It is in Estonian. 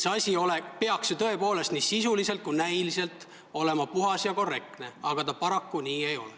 See asi peaks ju tõepoolest nii sisuliselt kui ka näiliselt olema puhas ja korrektne, aga paraku nii ei ole.